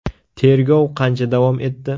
– Tergov qancha davom etdi?